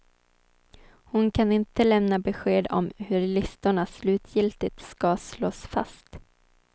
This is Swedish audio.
Hon kan inte lämna besked om hur listorna slutgiltigt ska slås fast.